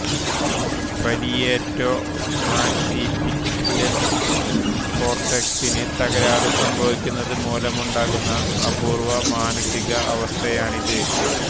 parieto-occipital കോർട്ടെക്സിന് തകരാറ് സംഭവിക്കുന്നത് മൂലമുണ്ടാകുന്ന അപൂർവ മാനസിക അവസ്ഥയാണിത്